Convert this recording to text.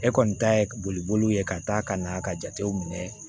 E kɔni ta ye boliboliw ye ka taa ka na ka jatew minɛ